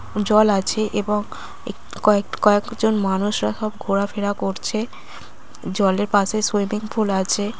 জল আছে এবং এ- কয়েক কয়েকজন মানুষরা সব ঘোরাফেরা করছে জলের পাশে সুইমিং পুল আছে।